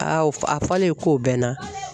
A fɔlen k'o bɛ n na